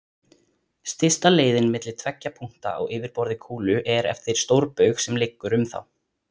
Stysta leiðin milli tveggja punkta á yfirborði kúlu er eftir stórbaug sem liggur um þá.